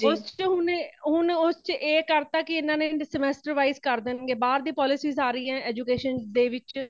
ਉਸ ਚ ਹੁਣ, ਹੁਣ ਉਸ ਚ ਇਹ ਕਰ ਤਾ ਕੇ ਇਹ semester wise ਕਰ ਦੇਣਗੇ ਬਾਰ ਦੀ polices ਆ ਰਹੀ ਨੇ education ਦੇ ਵਿੱਚ